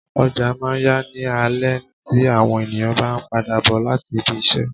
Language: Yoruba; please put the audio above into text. Ọjà máa ń ya ní alẹ tí àwọn ènìyàn bá ń padà bò láti ibi-isẹ.